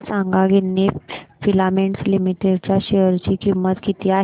मला सांगा Ginni filaments limited च्या शेअर ची किंमत किती आहे